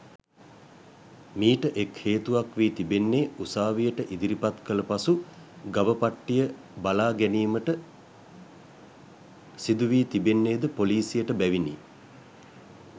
මීට එක් හේතුවක් වී තිබෙන්නේ උසාවියට ඉදිරිපත් කළ පසු ගව පට්ටිය බලා ගැනීමට සිදු වී තිබෙන්නේ ද පොලිසියට බැවිනි.